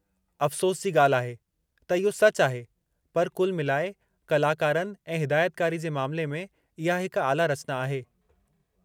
अफ़सोस जी ॻाल्हि आहे, त इहो सचु आहे, पर कुल मिलाए कलाकारनि ऐं हिदायतकारी जे मामिले में इहा हिक आला रचना आहे।